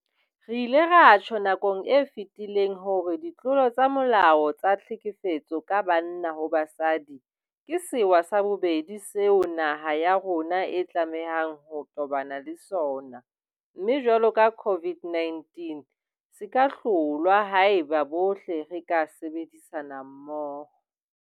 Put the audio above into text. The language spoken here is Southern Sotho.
Re ile ra tjho nakong e fetileng hore ditlolo tsa molao tsa tlhekefetso ka banna ho basadi ke sewa sa bobedi seo naha ya rona e tlamehang ho tobana le sona, mme jwalo ka COVID-19 se ka hlolwa haeba bohle re ka sebedisana mmoho.